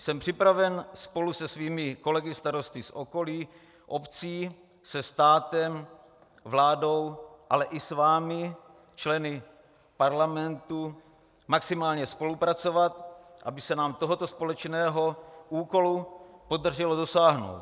Jsem připraven spolu se svými kolegy starosty z okolních obcí se státem, vládou, ale i s vámi, členy parlamentu, maximálně spolupracovat, aby se nám tohoto společného úkolu podařilo dosáhnout.